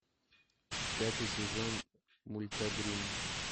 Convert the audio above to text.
пятый сезон мульта гримм